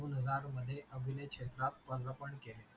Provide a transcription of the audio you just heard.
दोन हजार मध्ये अभिनय क्षेत्रात प्रदार्पण केले.